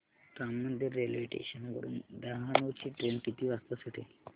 Ram Mandir railway station वरुन डहाणू ची train किती वाजता सुटेल